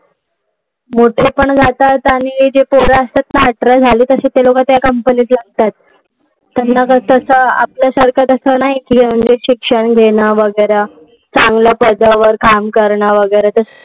मोठेपण घालतात आणि जे पोरं असतात ना जी अठरा झाली की त्या company मध्ये लागतात. त्यांना कसं आपल्यासारखं ते नाही. शिक्षण घेणं वगैरे, चांगल्या पदावर काम करणं वगैरे.